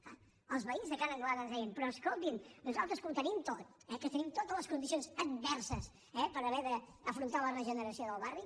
clar els veïns de ca n’anglada ens deien però escoltin a nosaltres que ho tenim tot eh que tenim totes les condicions adverses per haver d’afrontar la regeneració del barri